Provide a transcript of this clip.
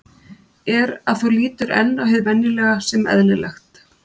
er að þú lítur enn á hið venjulega sem eðlilegt.